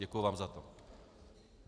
Děkuji vám za to.